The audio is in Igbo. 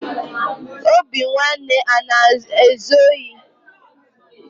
Obinwanne ana ezu ohi?